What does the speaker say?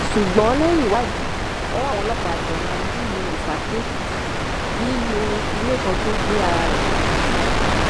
ṣùgbọn lẹyìn ìwádìí ọwọ àwọn ọlọpàá tẹ nana nílùú ifákíèkìtì nínú ilé kan tó gbé ara rẹ papá sí